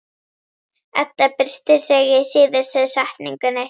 Edda byrstir sig í síðustu setningunni.